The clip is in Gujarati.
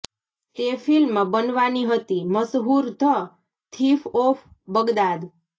તે ફિલ્મ બનવાની હતી મશહૂર ધ થીફ ઑફ બગદાદ